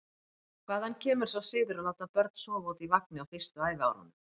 Hvaðan kemur sá siður að láta börn sofa úti í vagni á fyrstu ævi árunum?